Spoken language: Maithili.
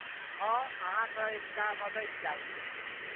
हँ, अहाँसँ एकटा मददि चाही।